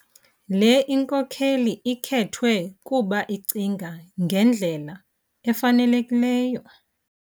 Le inkokeli khethwe kuba icinga ngendlela efanelekileyo